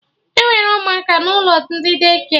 Enwere ụmụaka n'ụlọ ndị Daycare